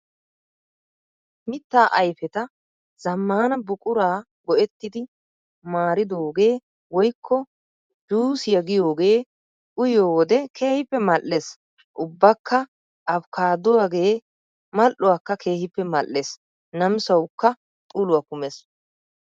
Mitta ayfeta zaammana buquraa go"ettidi maaridoogee woykko "juusiyaa" giyoogee uyiyoodee keehippe mal"ees. Ubbakka afikaadduwaagee mal"uwaakka keehippe mal"ees namisawukka uluwaa kumees.